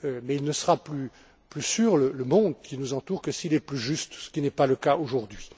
Il ne sera plus sûr, ce monde qui nous entoure, que s'il est plus juste, ce qui n'est pas le cas aujourd'hui.